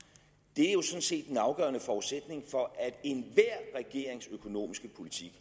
er jo sådan set den afgørende forudsætning for at enhver regerings økonomiske politik